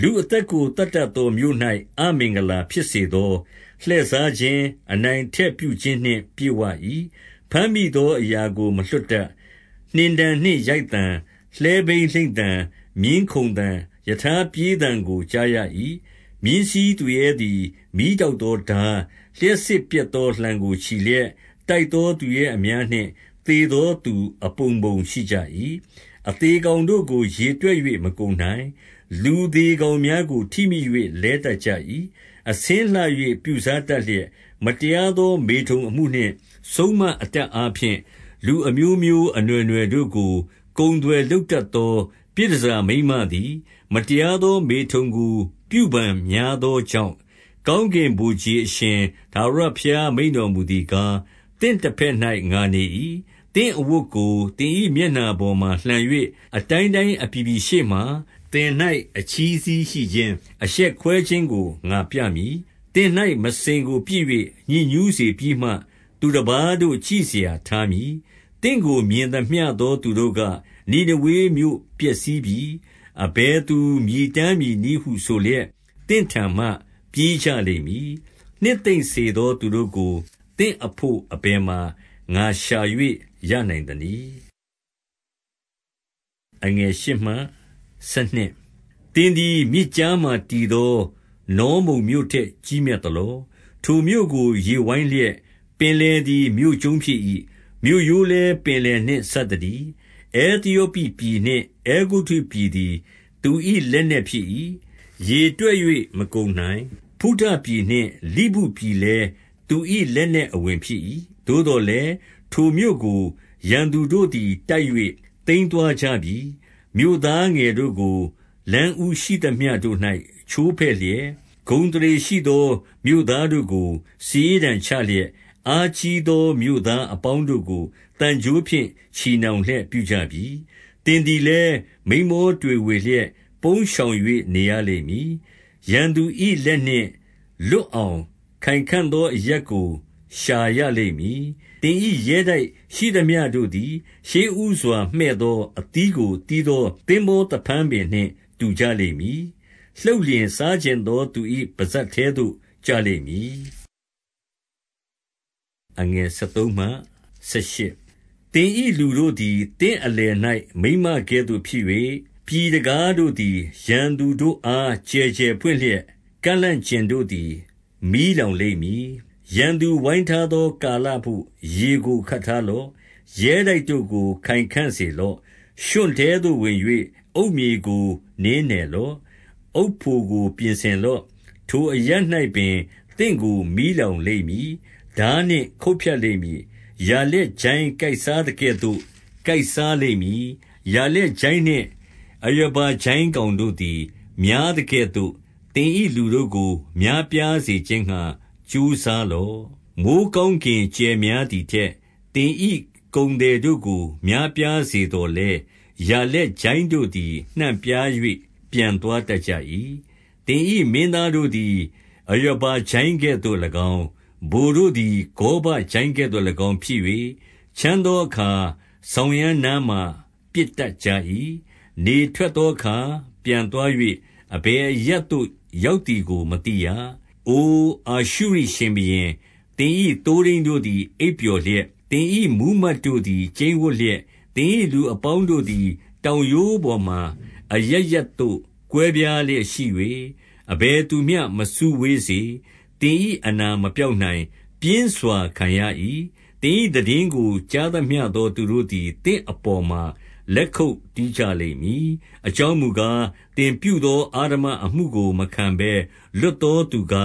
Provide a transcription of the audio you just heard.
လူအသက်ကို သတ်တတ်သော မြို့၌အမင်္ဂလာ ဖြစ်စေသော၊ လှည့်စားခြင်း၊ အနိုင်အထက်ပြုခြင်းနှင့် ပြည့်ဝ၏။ ဘမ်းမိသောအရာကို မလွှတ်တတ်။ 2 နှင်တံနှင့်ရိုက်သံ၊ လှည်းဘီးလိမ့်သံ၊ မြင်းခုန်သံ၊ ရထားပြေးသံကို ကြားရ၏။ 3 မြင်းစီးသူရဲသည် မီးတောက်သော ထား၊ လျှပ် စစ်ပြက်သော လှံကိုချီလျက်၊ တိုက်သောသူရဲအများနှင့် သေသောသူအပုံပုံရှိကြ၏။ အသေကောင်တို့ကို ရေတွက် ၍ မကုန်နိုင်။ လူသေကောင်များကို ထိမိ၍ လဲတတ်ကြ ၏။ 4 အဆင်းလှ၍ ပြုစားတတ်လျက်၊ မတရားသော မေထုန်အမှုနှင့် စုန်းမအတတ်အားဖြင့်၊ လူအမျိုးမျိုး အနွှယ်နွှယ်တို့ကို ကုန်သွယ်လုပ်တတ်သော ပြည်တန်ဆာ မိန်းမသည် မတရားသော မေထုန်ကို ပြုဖန်များပြား သောကြောင့်၊ 5 ကောင်းကင်ဗိုလ်ခြေအရှင် ထာဝရဘုရား မိန့် တော်မူသည်ကား၊ သင့်တဘက်၌ ငါနေ၏။ သင့်အဝတ် ကို သင်၏မျက်နှာပေါ်မှာ လှန်၍ အတိုင်းတိုင်းအပြည် ပြည်ရှေ့မှာ သင်၌ အချည်းစည်းရှိခြင်း၊ အရှက်ကွဲခြင်းကို ငါပြမည်။ 6 သင်၌ မစင်ကိုပစ်၍ ညစ်ညူးစေပြီးမှ၊ သူတပါး တို့ကြည့်စရာထားမည်။ 7 သင့်ကို မြင်သမျှသော သူတို့က၊ နိနေဝေမြို့ ပျက်စီးပြီ။ အဘယ်သူမြည်တမ်းမည်နည်းဟုဆိုလျက်၊ သင့်ထံမှပြေးကြလိမ့်မည်။ နှစ်သိမ့်စေသော သူတို့ကို သင့်အဘို့ အဘယ်မှာ ငါရှာ၍ ရနိုင်သနည်း။ 8 သင်သည် မြစ်ကြားမှာ တည်သော နောမုန်မြို့ ထက် ကြီးမြတ်သလော။ ထိုမြို့ကို ရေဝိုင်းလျက်၊ ပင်လယ် သည် မြို့ကျုံးဖြစ်၏။ မြို့ရိုးလည်း ပင်လယ်နှင့် စပ် သတည်း။ 9 အဲသယောပိပြည်နှင့် အဲဂုတ္တုပြည်သည် သူ၏ လက်နက်ဖြစ်၏။ ရေတွက်၍ မကုန်နိုင်။ ဖုတပြည်နှင့် လိဗုပြည်လည်း သူ၏လက်နက်အဝင် ဖြစ်၏။ 10 သို့သော်လည်း၊ ထိုမြို့ကို ရန်သူတို့သည် တိုက်၍ သိမ်းသွားကြပြီ။ မြို့သားငယ်တို့ကို လမ်းဦးရှိသမျှတို့၌ ချိုးဖဲ့လျက်၊ ဂုဏ်အသရေရှိသော မြို့သားတို့ကို စာရေးတံ ချလျက်၊ အားကြီးသော မြို့သားအပေါင်းတို့ကို သံကြိုး ဖြင့် ချည်နှောင်လျက် ပြုကြပြီ။ 11 သင်သည်လည်း မိန်းမောတွေဝေလျက် ပုန်း ရှောင်၍ နေရလိမ့်မည်။ ရန်သူ၏လက်နှင့် လွတ်အောင် ခိုင်ခံ့သောအရပ်ကို ရှာရလိမ့်မည်။ 12 သင်၏ရဲတိုက်ရှိသမျှတို့သည် ရှေ့ဦးစွာ မှည့် သော အသီးကို သီးသော သင်္ဘောသဖန်းပင်နှင့် တူကြ လိမ့်မည်။ လှုပ်လျှင် စားချင်သောသူ၏ ပစပ်ထဲသို့ ကျလိမ့်မည်။ 13 သင်၏လူတို့သည် သင့်အလယ်၌ မိန်းမကဲ့သို့ ဖြစ်၍၊ ပြည်တံခါးတို့သည် ရန်သူတို့အား ကျယ်ကျယ်ပွင့် လျက်၊ ကန့်လန့်ကျင်တို့သည် မီးလောင်လိမ့်မည်။ 14 ရန်သူဝိုင်းထားသော ကာလဘို့ ရေကို ခပ်ထား လော့။ ရဲတိုက်တို့ကို ခိုင်ခံ့စေလော့။ ရွံ့ထဲသို့ ဝင်၍ အုတ် မြေကို နင်းနယ်လော့။ အုတ်ဖိုကို ပြင်ဆင်လော့။ 15 ထိုအရပ်၌ပင် သင့်ကို မီးလောင်လိမ့်မည်။ ထား နှင့်ခုတ်ဖြတ်လိမ့်မည်။ ယာလက်ကျိုင်းကိုက်စားသကဲ့သို့ ကိုက်စားလိမ့်မည်။ ယာလက်ကျိုင်းနှင့် အရာဘကျိုင်း ကောင်တို့သည် များသကဲ့သို့ သင်၏လူတို့ကို များပြားစေ ခြင်းငှါ ကြိုးစားလော့။ 16 မိုဃ်းကောင်းကင်ကြယ်များသည်ထက်၊ သင်၏ ကုန်သည်တို့ကို များပြားစေသော်လည်း၊ ယာလက်ကျိုင်း တို့သည် နှံ့ပြား၍ ပျံသွားတတ်ကြ၏။ 17 သင်၏မင်းသားတို့သည် အရာဘကျိုင်းကဲ့သို့၎င်း၊ ဗိုလ်တို့သည် ဂေါဘကျိုင်းကဲ့သို့၎င်းဖြစ်၍၊ ချမ်းသော အခါ စောင်ရန်းနားမှာ ပစ်တတ်ကြ၏။ နေထွက်သော အခါ ပျံသွား၍ အဘယ်အရပ်သို့ ရောက်သည်ကို မသိရ။ 18 အိုအာရှုရိရှင်ဘုရင်၊ သင်၏သိုးထိန်းတို့သည် အိပ်ပျော်လျက်၊ သင်၏မှူးမတ်တို့သည် ကျိန်းဝပ်လျက်၊ သင်၏လူအပေါင်းတို့သည် တောင်ရိုးပေါ်မှာ အရပ်ရပ် သို့ ကွဲပြားလျက်ရှိ၍၊ အဘယ်သူမျှ မစုဝေးစေ။ သင်၏ အနာမပျောက်နိုင်။ ပြင်းစွာခံရ၏။ သင်၏သိတင်းကို ကြားသမျှသော သူတို့သည် သင့်အပေါ်မှာ လက်ခုပ်တီး ကြလိမ့်မည်။ အကြောင်းမူကား၊ သင်ပြုသော အဓမ္မအမှု ကို မခံဘဲလွတ်သော သူက